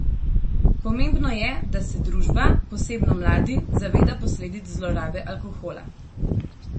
Pomembno je, da se družba, posebno mladi, zaveda posledic zlorabe alkohola.